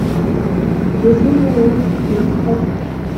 десять мгновений судьбы искать